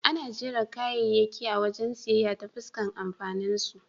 Ana jera kayayyaki a wajen siyayya ta fuskar amfaninsu.